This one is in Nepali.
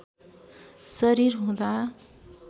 शरीर हुँदा